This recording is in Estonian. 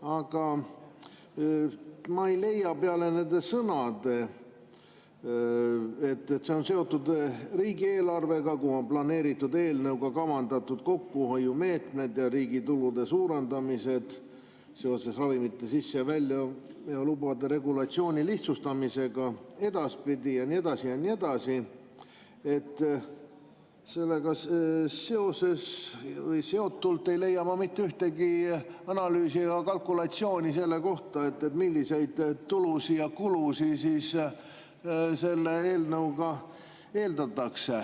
Aga ma ei leia peale nende sõnade, et see on seotud riigieelarvega, kus on planeeritud selle eelnõuga kavandatud kokkuhoiumeetmed ja riigi tulude suurendamine seoses ravimite sisse- ja väljaveo lubade regulatsiooni lihtsustamisega ja nii edasi ja nii edasi – sellega seotult ei leia ma mitte ühtegi analüüsi või kalkulatsiooni selle kohta, milliseid tulusid ja kulusid selle eelnõuga eeldatakse.